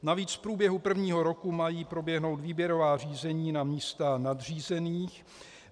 Navíc v průběhu prvního roku mají proběhnout výběrová řízení na místa nadřízených.